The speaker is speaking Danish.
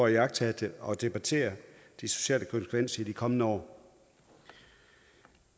iagttage og debattere de sociale konsekvenser i de kommende år